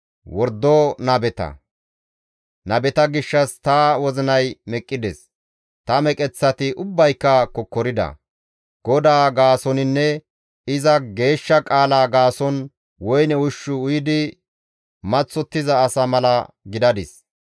Nabeta gishshas ta wozinay meqqides; ta meqeththati ubbayka kokkorida. GODAA gaasoninne iza geeshsha qaala gaason woyne ushshu uyidi maththottiza asa mala gidadis.